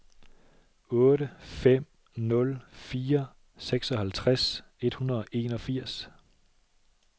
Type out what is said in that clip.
otte fem nul fire seksoghalvtreds et hundrede og enogfirs